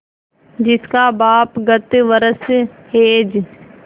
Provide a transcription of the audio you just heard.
जिसका बाप गत वर्ष हैजे